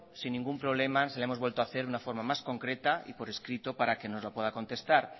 sin ningún problema se la hemos vuelto a hacer de una forma más concreta y por escrito para que nos la pueda contestar